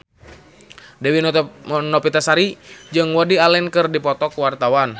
Dewi Novitasari jeung Woody Allen keur dipoto ku wartawan